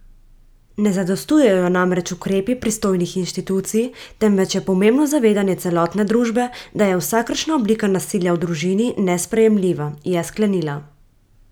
Ne zadostujejo namreč ukrepi pristojnih inštitucij, temveč je pomembno zavedanje celotne družbe, da je vsakršna oblika nasilja v družini nesprejemljiva, je sklenila.